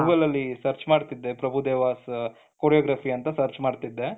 Google ಅಲ್ಲಿ search ಮಾಡ್ತಾ ಇದ್ದೆ ಪ್ರಭುದೇವಾಸ್ choreography ಅಂತ search ಮಾಡ್ತಾ ಇದ್ದೆ.